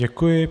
Děkuji.